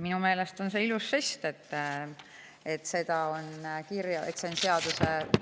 Minu meelest on see ilus žest, et see on